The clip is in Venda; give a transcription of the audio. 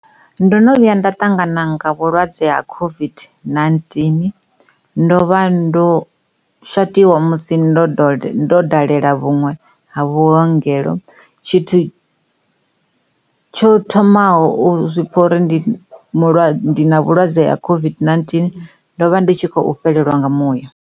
Ndo no vhuya nda ṱangana nga vhulwadze ha COVID-19 ndo vha ndo shatiwa musi ndo dalela vhuṅwe ha vhuongelo tshithu tsho thomaho u zwi pfa uri ndi na vhulwadze ha COVID-19 ndo vha ndi tshi khou fhelelwa nga muya.